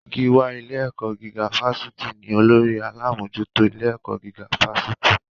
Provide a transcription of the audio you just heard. Gíwá ilé-ẹ̀kọ́ gígá fásitì ní olórí alámòójútó ilé-ẹ̀kọ́ gíga fásitì.